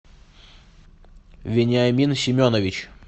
вениамин семенович